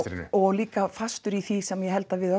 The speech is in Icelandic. og líka fastur í því sem ég held að við